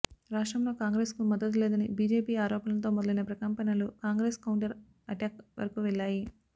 రాష్ట్రంలో కాంగ్రెస్కు మద్దతు లేదని బీజేపీ ఆరోపణలతో మొదలైన ప్రకంపనలు కాంగ్రెస్ కౌంటర్ అటాక్ వరకు వెళ్లాయి